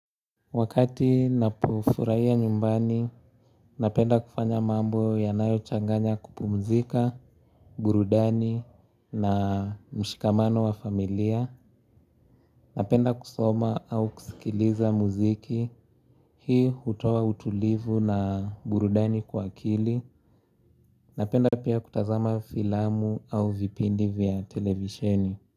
Wakati ninapo furahia nyumbani, napenda kufanya mambo yanayo changanya kupumzika, burudani na mshikamano wa familia. Napenda kusoma au kusikiliza muziki, hii hutoa utulivu na burudani kwa akili. Napenda pia kutazama filamu au vipindi vya televisheni.